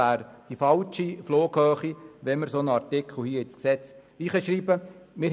Einen solchen Artikel ins Gesetz aufzunehmen, wäre die falsche Flughöhe.